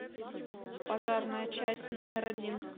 пожарная часть номер один